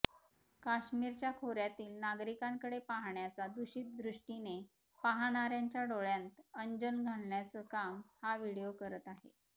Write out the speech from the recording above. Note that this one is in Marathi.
काश्मिरच्या खोऱ्यातील नागरिकांकडे पाहण्याचा दूषित दृष्टीने पाहणाऱ्यांच्या डोळ्यांत अंजन घालण्याचं काम हा व्हिडिओ करत आहे